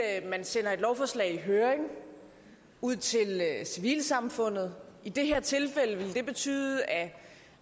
er at man sender et lovforslag til høring i civilsamfundet i det her tilfælde ville det betyde at